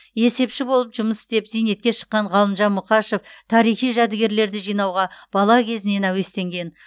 есепші болып жұмыс істеп зейнетке шыққан ғалымжан мұқашев тарихи жәдігерлерді жинауға бала кезінен әуестенген